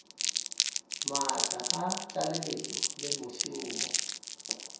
maatla a tlaleletšo le mešomo